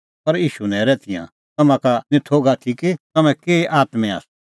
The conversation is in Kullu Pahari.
पर ईशू नैरै तिंयां तम्हां का निं थोघ कि तम्हैं केही आत्में आसा